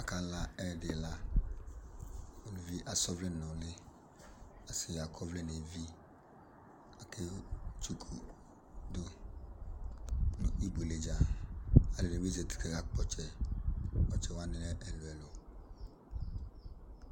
Akla ɛyɛdi la, aluvi asa ɔvlɛ n'ʋli, asi ak'ɔvlɛ n'evi, aketsuku dʋ nʋ ibuele dza alʋ ɛdini zati k'akakp'ɔtsɛ, ɔtsɛwani lɛ ɛlʋ ɛlʋ